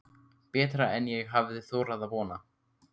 Betra en ég hafði þorað að vona